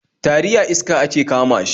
Tari a iska ake kama shi